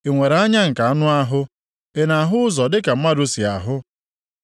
Ị nwere anya nke anụ ahụ? Ị na-ahụ ụzọ dịka mmadụ si ahụ?